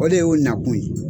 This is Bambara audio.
O de y'u nakun ye.